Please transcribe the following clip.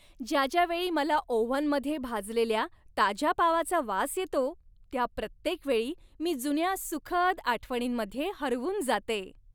ज्या ज्या वेळी मला ओव्हनमध्ये भाजलेल्या ताज्या पावाचा वास येतो त्या प्रत्येक वेळी मी जुन्या सुखद आठवणींमध्ये हरवून जाते.